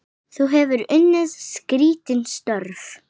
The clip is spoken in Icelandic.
Þú hefur unnið skrítin störf?